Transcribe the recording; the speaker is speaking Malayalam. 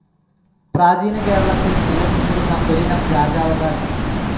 പ്രാചീന കേരളത്തിൽ നിലനിന്നിരുന്ന ഒരിനം രാജാവകാശം.